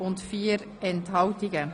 Sie haben die Motion angenommen.